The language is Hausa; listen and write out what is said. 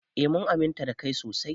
Eh mun aminta da kai sosai.